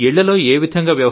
ఇళ్లలో ఏ విధంగా